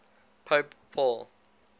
pope paul